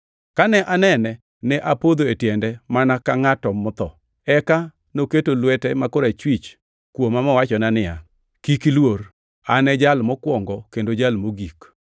Kane anene, ne apodho e tiende mana ka ngʼat motho. Eka noketo lwete ma korachwich kuoma mowachona niya, “Kik iluor. An e Jal Mokwongo kendo Jal Mogik.